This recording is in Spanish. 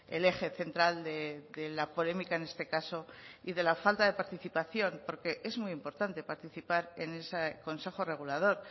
el eje central de la polémica en este caso y de la falta de participación porque es muy importante participar en ese consejo regulador